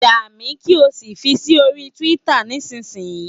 Yà mí, kí o sì fi sí orí Twitter nísinsìnyí!